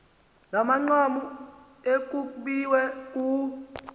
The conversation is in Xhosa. namanqaku ekukbiwe kuwo